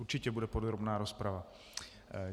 Určitě bude podrobná rozprava.